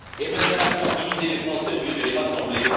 Emmanuel Macron a divisé les Français au lieu de les rassembler.